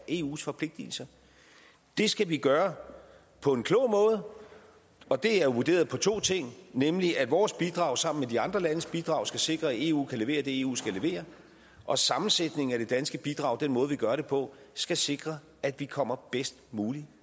eus forpligtelser det skal vi gøre på en klog måde og det er vurderet ud fra to ting nemlig at vores bidrag sammen med de andre landes bidrag skal sikre at eu kan levere det eu skal levere og at sammensætningen af det danske bidrag den måde vi gør det på skal sikre at vi kommer bedst muligt